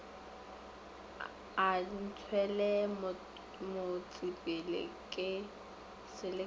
a ntšwele motsepele ke selekega